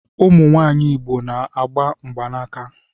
Ụmụ nwanyị Igbo na-agba mgbanaka